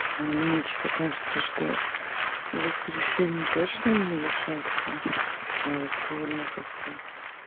мне что-то кажется что в воскресенье точно не решатся а вот сегодня как-то